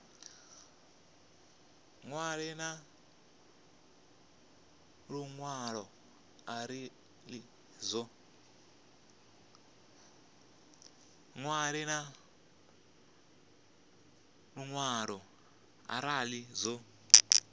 ṅwale na luṅwalo arali zwo